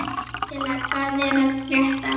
Gísela, hvað er að frétta?